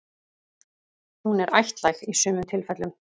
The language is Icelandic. Hún er ættlæg í sumum tilfellum.